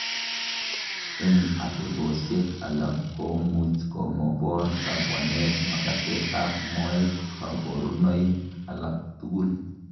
En otebosiek alak komuch komobor kabwanetab makatetab moet koborunoik alak tukul.